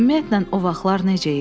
Ümumiyyətlə, o vaxtlar necə idi?